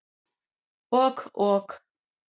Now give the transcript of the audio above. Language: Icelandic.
Ok ok.